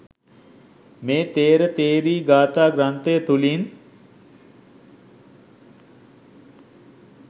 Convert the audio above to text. මේ ථේර ථෙරී ගාථා ග්‍රන්ථය තුළින්